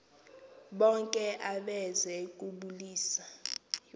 bonke abeze kubulisa